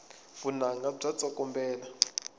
vunanga bya tsokombela